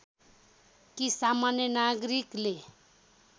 कि सामान्य नागरिकले